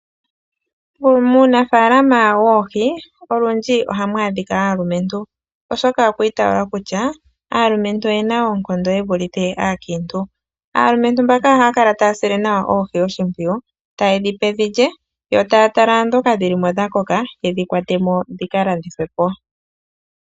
Muunafaalama woohi olundji ohamu adhika aalumentu, oshoka okwa itaalwa kutya aalumentu oye na oonkondo ye vulithe aakiintu. Aalumentu mbaka ohaya kala taya sile nawa oohi oshimpwiyu, taye dhi pe dhi lye, yo taa tala ndhoka dhi li mo dha koka, ye dhi kwate mo dhi ka landithwe po.